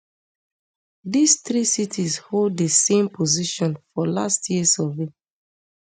dis three cities hold di same position for last year survey